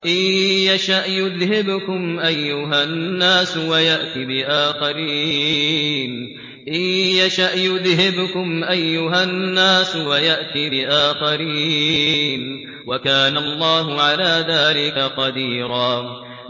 إِن يَشَأْ يُذْهِبْكُمْ أَيُّهَا النَّاسُ وَيَأْتِ بِآخَرِينَ ۚ وَكَانَ اللَّهُ عَلَىٰ ذَٰلِكَ قَدِيرًا